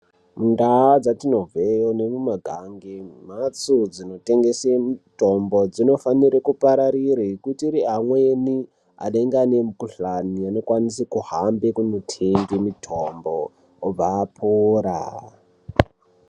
Ndaa dzatinobve nemumagange nembatso dzinotengese mitombo dzinofanire kupararire ngekuti amweni anenge aine mikuhlani anokwanise kuhamba kunotenge mitombo obva apora.